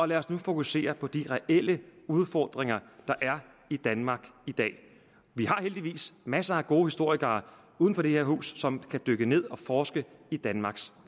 lad os nu fokusere på de reelle udfordringer der er i danmark i dag vi har heldigvis masser af gode historikere uden for det her hus som kan dykke ned og forske i danmarks